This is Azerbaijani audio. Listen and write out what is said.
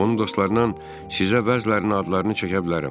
Onun dostlarından sizə bəzilərinin adlarını çəkə bilərəm.